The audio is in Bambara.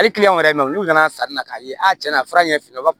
Hali wɛrɛ mɛn olu nana sanni na k'a ye a ti na a fura ɲɛ fila